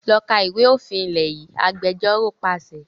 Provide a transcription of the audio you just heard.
Lọ kà ìwé òfin ilé yìí! Agbẹjọ́ró pàṣẹ.